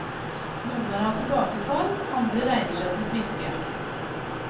Noen har hatt tilbakefall, andre regner seg som friske.